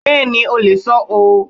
Bẹ́ẹ̀ni o lè sọ ọ́.